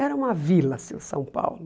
Era uma vila, assim, São Paulo.